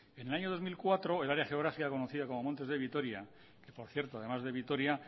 en el año dos mil cuatro el área geográfica conocida como montes de vitoria por cierto además de vitoria